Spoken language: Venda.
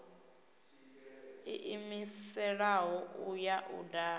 ḓiimiselaho u ya u dala